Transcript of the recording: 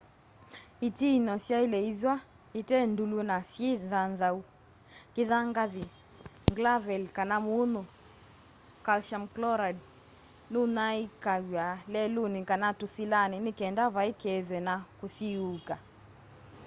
itiinyo syaile ithwa ite ndûlu na syi nthanthau. kithangathi nglaveli kana munyu calcium chloride nunyaiikaw'a leluni kana tusilani nikenda vai kethwe na kusiiuka